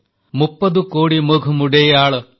ମୁପ୍ପଦୁ କୋଡି ମୁଘ୍ ମୁଡୈୟାଳ